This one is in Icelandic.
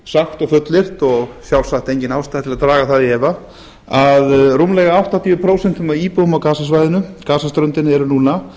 sagt og fullyrt og sjálfsagt engin ástæða til að draga það í efa að rúmlega áttatíu prósent af íbúum á gasaströndinni eru núna